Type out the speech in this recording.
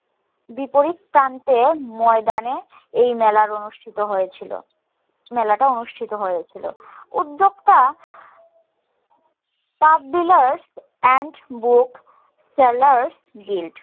বিপরীত প্রান্তে ময়দানে এই মেলার অনুষ্ঠিত হয়ে ছিল মেলাটা অনুষ্ঠিত হয়ে ছিল উদ্যোক্তা pub dealers and book sellers guild